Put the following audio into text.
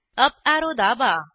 up arrow दाबा